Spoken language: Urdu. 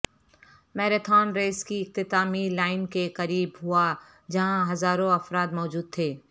میراتھن ریس کی اختتامی لائن کے قریب ہوا جہاں ہزاروں افراد موجود تھے